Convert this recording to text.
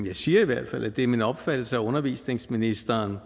jeg siger i hvert fald at det er min opfattelse at undervisningsministeren